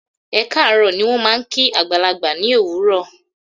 "Ẹ kaaro" ni wón máa ń kí àgbàlagbà ní òwúrò.